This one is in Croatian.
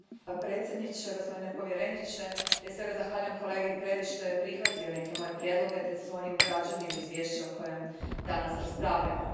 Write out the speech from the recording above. Gospodine predsjedavajući, gospodine povjereniče, prije svega zahvaljujem kolegi Predi što je prihvatio neke moje prijedloge te su oni ugrađeni u izvješće o kojem danas raspravljamo.